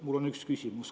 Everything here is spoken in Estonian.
Mul on üks küsimus.